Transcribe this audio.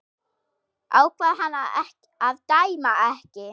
Ákvað hann að dæma ekki?